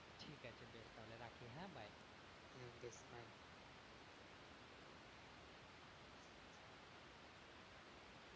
ঠিক আছে বেশ তাহলে রাখি হ্যাঁ bye